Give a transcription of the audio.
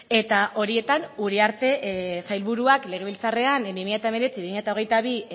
eta horietan uriarte sailburuak legebiltzarrean bi mila hemeretzi bi mila hogeita bi